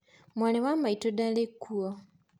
Mwarĩ wa maitũ ndarĩ kuo.